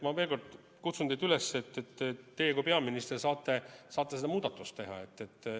Ma veel kord kutsun teid üles, et teie kui peaminister saate selle muudatuse teha.